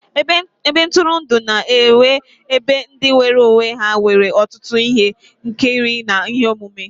Ebe ntụrụndụ na-enye ebe ndị nwere onwe ha nwere ọtụtụ ihe nkiri na ihe omume.